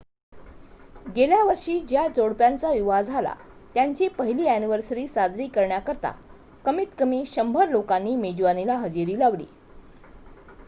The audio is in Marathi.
गेल्या वर्षी ज्या जोडप्याचा विवाह झाला त्यांची पहिली अ‍ॅनिव्हर्सरी साजरी करण्याकरिता कमीत कमी 100 लोकांनी मेजवानीला हजेरी लावली